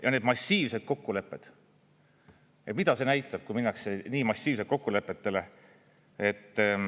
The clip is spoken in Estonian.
Ja need massiivsed kokkulepped – mida see näitab, kui minnakse nii massiivselt kokkulepetele?